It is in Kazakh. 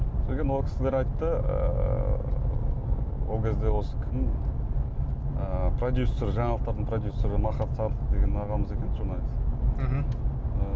содан кейін ол кісілер айтты ыыы ол кезде осы кім ы продюсер жаналықтардың продюсері махат садык деген ағамыз екен журналист мхм ы